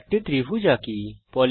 একটি ত্রিভুজ আঁকি